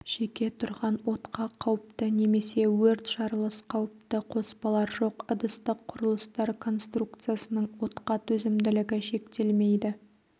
жеке тұрған отқа қауіпті немесе өрт жарылыс қауіпті қоспалар жоқ ыдыстық құрылыстар конструкциясының отқа төзімділігі шектелмейді